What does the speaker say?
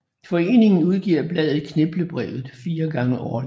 Foreningen udgiver bladet Kniplebrevet 4 gange årligt